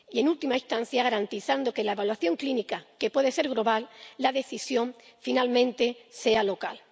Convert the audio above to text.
Y, en última instancia, garantizando que, aunque la evaluación clínica pueda ser global, la decisión finalmente sea local.